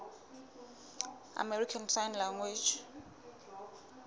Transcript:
american sign language